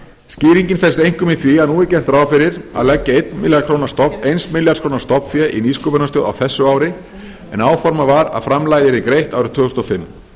skýringin felst einkum í því að nú er gert ráð fyrir að leggja eins milljarðs króna stofnfé í nýsköpunarstöð á þessu ári en áformað var að framlagið yrði greitt árið tvö þúsund og fimm